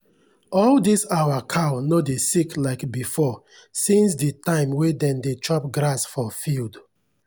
all dis our cow no dey sick like before since the time wey dem dey chop grass for field.